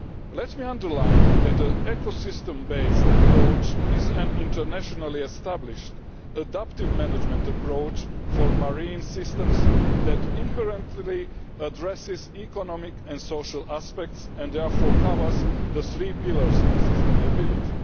Let me underline that an ecosystem based approach is an internationally established, adaptive management approach for marine systems that inherently addresses economic and social aspects and therefore covers the three pillars of sustainability.